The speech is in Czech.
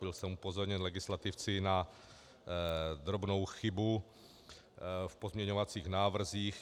Byl jsem upozorněn legislativci na drobnou chybu v pozměňovacích návrzích.